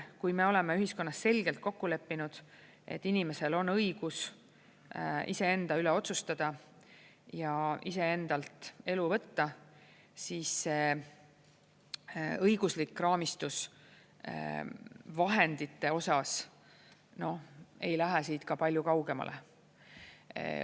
Kui me oleme ühiskonnas selgelt kokku leppinud, et inimesel on õigus iseenda üle otsustada ja iseendalt elu võtta, siis õiguslik raamistus vahendite osas ei lähe siit ka palju kaugemale.